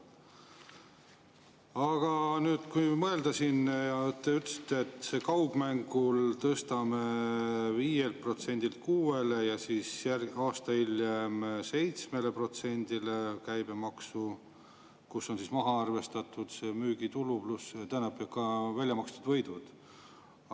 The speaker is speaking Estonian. Aga nüüd kui mõelda: te ütlesite, et kaugmängul tõstame 5%‑lt 6%‑le ja aasta hiljem 7%‑le käibemaksu, kust on maha arvestatud väljamakstud võidud.